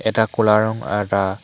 এটা ক'লা ৰং আৰ এটা --